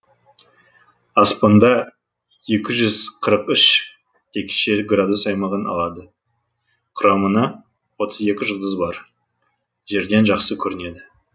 аспанда екі жүз қырық үш текше градус аймағын алады құрамына отыз екі жұлдыз бар жерден жақсы көрінеді